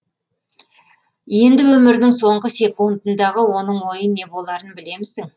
енді өмірінің соңғы секундындағы оның ойы не боларын білемісің